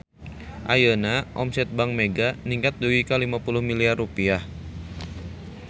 Ayeuna omset Bank Mega ningkat dugi ka 50 miliar rupiah